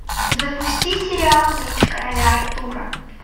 запусти сериал меч короля артура